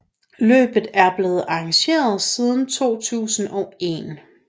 Løbet er blevet arrangeret siden 2001